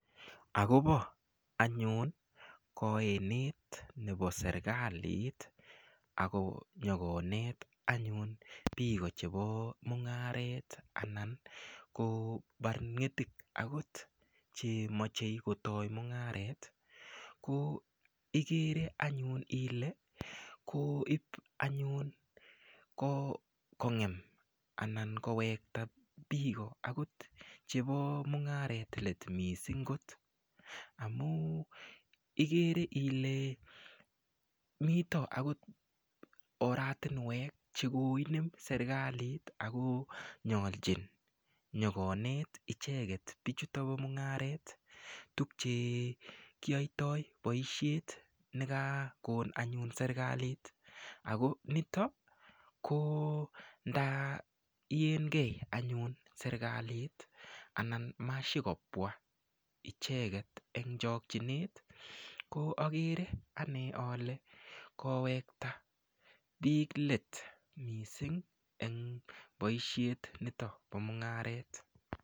Akobo anyun kaenet nebo serikalit akonyokonet anyun biko chebo mung'aret anan ko barnetik akot chemochei kotoi mung'aret ko ikere anyun ile koip anyun kongen anan kowekta biko akot chebo mung'aret let missingkot amun ikere ile mito akot oratinwek chekoinem serikalit ako nyolchin nyokonet icheket bichuto bo mung'aret tupchekiyoitoi boishet nekakon anyun serikalit ako nitok ko nda iyenkee anyun serikalit anan mashikobwa icheket eng chokchinet ko akere ane ale kowekta biik let missing eng boishet nito bo mung'aret.